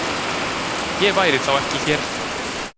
Ég væri þá ekki hér.